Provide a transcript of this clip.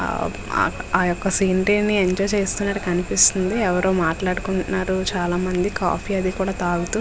ఆ ఆ ఒక్క సీనెరీ ఎంజాయ్ చేస్తున్నారు కనిపిస్తుంది ఎవరో మాట్లాడుకుంటున్నారు చాలా మంది కాఫీ అది కూడా తాగుతూ --